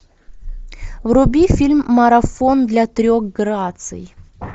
вруби фильм марафон для трех граций